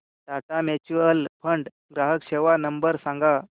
Tata mutual fund ग्राहक सेवा number सांगा